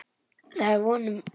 Það er að vonum.